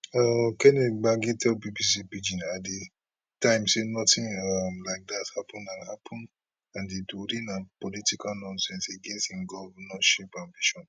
um kenneth gbagi tell bbc pidgin at di time say notin um like dat happun and happun and di tori na political nonsense against im govnorship ambition